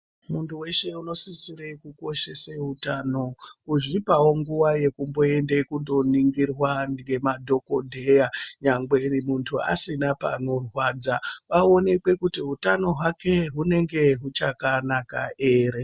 Muntu weshe unosisire kukoshese utano ozvipawo nguwa yekumboende kundo ningirwa ngema dhokodheya nyangwe muntu asina panorwadza paonekwe kuti hutano hwake hunenge huchaka naka here.